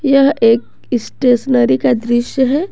यह एक स्टेशनरी का दृश्य है।